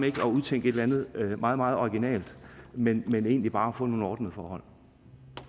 ikke at udtænke et eller andet meget meget originalt men men egentlig bare at få nogle ordnede forhold